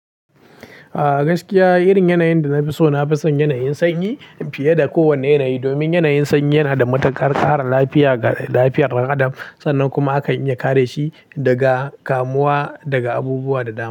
Ah gaskiya, irin yanayin da na fi so, na fi son yanayin sanyi fiye da kowane yanayi. Domin yanayin sanyi yana da matukar kara lafiya ga lafiyar dan adam. Sannan kuma akan iya kare shi daga kamuwa daga abubuwa da dama.